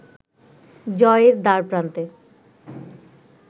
জয়ের দ্বারপ্রান্তে